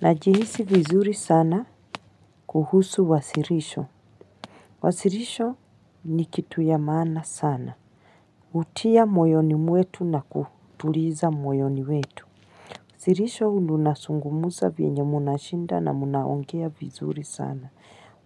Najihisi vizuri sana kuhusu wasilisho wasilisho ni kitu ya maana sana. Hutia moyoni mwetu na kutuliza moyoni wetu. Silihisho unazungumza vyenye mnashinda na mnaongea vizuri sana.